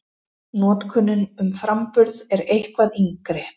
Notkunin um framburð er eitthvað yngri.